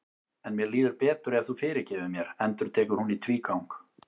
En mér líður betur ef þú fyrirgefur mér, endurtekur hún í tvígang.